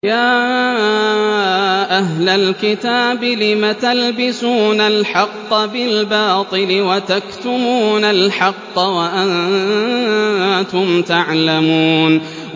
يَا أَهْلَ الْكِتَابِ لِمَ تَلْبِسُونَ الْحَقَّ بِالْبَاطِلِ وَتَكْتُمُونَ الْحَقَّ وَأَنتُمْ تَعْلَمُونَ